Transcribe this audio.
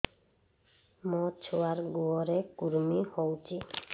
ମୋ ଛୁଆର୍ ଗୁହରେ କୁର୍ମି ହଉଚି